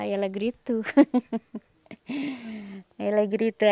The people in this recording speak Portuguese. Aí ela gritou ela gritou